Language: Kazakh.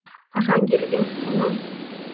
қашан келіп ең құлыным